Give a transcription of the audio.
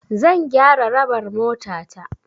Zan gyara raɓar motata.